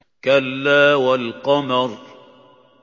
كَلَّا وَالْقَمَرِ